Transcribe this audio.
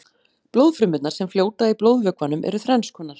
blóðfrumurnar sem fljóta í blóðvökvanum eru þrennskonar